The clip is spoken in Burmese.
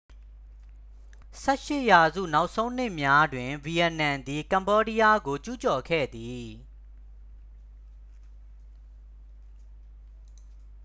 18 ရာစု နောက်ဆုံးနှစ်များတွင် ဗီယက်နမ်သည် ကမ္ဘောဒီးယားကို ကျူးကျော်ခဲ့သည်